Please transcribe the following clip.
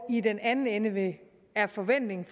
i den anden ende er forventningen